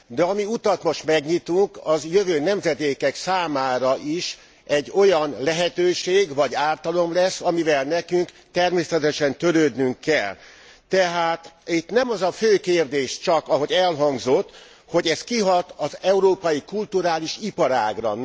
De ami utat most megnyitunk, az jövő nemzedékek számára is egy olyan lehetőség vagy ártalom lesz, amivel nekünk természetesen törődnünk kell. Tehát itt nem az a fő kérdés csak, ahogy elhangzott, hogy ez kihat az európai kulturális iparágra.